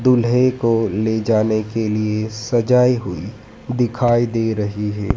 दूल्हे को ले जाने के लिए सजाई हुई दिखाई दे रही है।